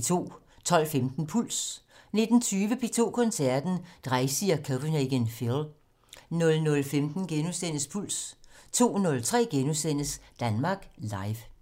12:15: Puls 19:20: P2 Koncerten - Dreisig og Copenhagen Phil 00:15: Puls * 02:03: Danmark Live *